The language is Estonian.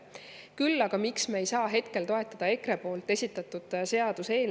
Miks me ei saa kohe kindlasti hetkel toetada EKRE esitatud seaduseelnõu?